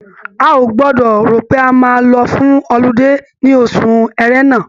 A ò gbọdọ̀ rò pé a máa lọ fún ọludé ní ọṣù Ẹ̀rẹnà.